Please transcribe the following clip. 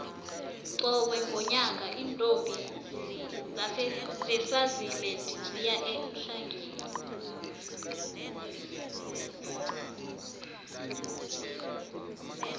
qobe ngonyaka iintombi zeswasiland ziya eemhlangeni